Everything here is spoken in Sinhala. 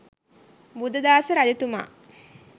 බුද්ධදාස රජතුමා